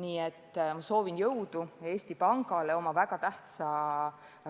Nii et soovin jõudu Eesti Pangale tema väga tähtsa